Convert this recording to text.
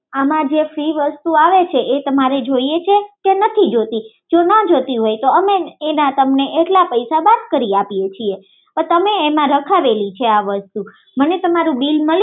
આમાં જે ફ્રિ વસ્તુ આવે છે એ તમારે જોઈએ છે એ તમારે જોઈએ છે કે નથી તો જો ના જોઈતી હોઈ તો અમે તમને તેના પૈસા બાદ કરી આપીએ છીએ મને તમારું બીલ મળી શકશે